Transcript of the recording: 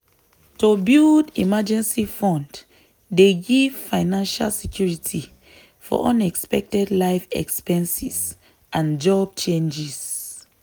to build emergency fund dey give financial security for unexpected life expenses and job changes.